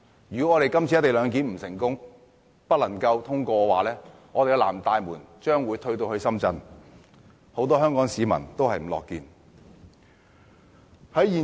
如果今次有關"一地兩檢"的《條例草案》不能通過的話，"南大門"將會退至深圳，這並非很多香港市民所樂見。